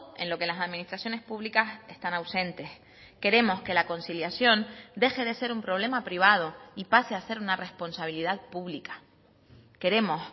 en lo que las administraciones públicas están ausentes queremos que la conciliación deje de ser un problema privado y pase a ser una responsabilidad pública queremos